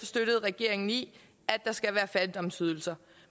støttet regeringen i at der skal være fattigdomsydelser